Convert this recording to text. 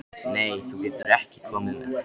Nei, þú getur ekki komið með.